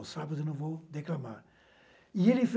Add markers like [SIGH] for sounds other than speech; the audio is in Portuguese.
Os Sapos eu não vou declamar. E ele [UNINTELLIGIBLE]